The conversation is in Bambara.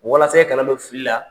Walasa i kana don fili la.